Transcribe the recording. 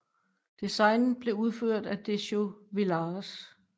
Designet blev udført af Décio Vilares